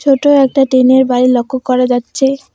ছোট একটা টিনের বাড়ি লক্ষ্য করা যাচ্ছে।